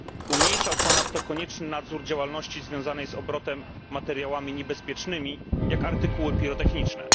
Ograniczał ponadto konieczny nadzór działalności związanej z obrotem materiałami niebezpiecznymi, jak artykuły pirotechniczne.